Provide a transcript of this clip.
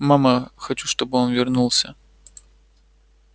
мама хочу чтобы он вернулся